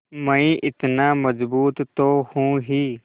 मैं इतना मज़बूत तो हूँ ही